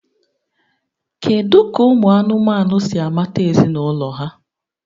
Kedu ka ụmụ anụmanụ si amata ezinụlọ ha?